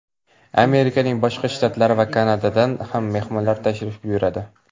Amerikaning boshqa shtatlari va Kanadadan ham mehmonlar tashrif buyuradi.